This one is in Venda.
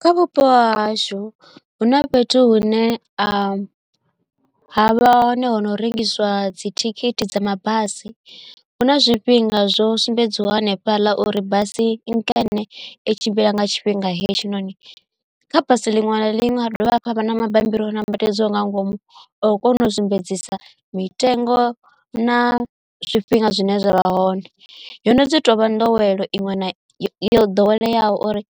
Kha vhupo hahashu hu na fhethu hune a havha hone hono rengiswa dzithikhithi dza mabasi huna zwifhinga zwo sumbedziwaho hanefhaḽa uri basi nkene i tshimbila nga tshifhinga hetshinoni kha basi liṅwe na liṅwe ha dovha hafhu ha vha na mabammbiri o nambatedzwaho nga ngomu o kona u sumbedzisa mitengo na zwifhinga zwine zwavha hone yono dzi tovha nḓowelo iṅwe na yo ḓoweleaho uri